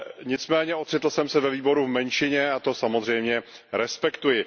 Nicméně ocitl jsem se ve výboru v menšině a to samozřejmě respektuji.